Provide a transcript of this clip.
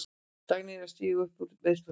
Dagný er að stíga upp úr meiðslum.